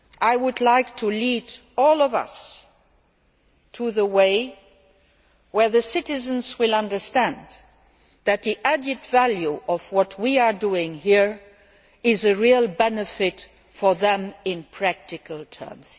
I would like to lead all of us to the way where the citizens will understand that the added value of what we are doing here is of real benefit to them in practical terms.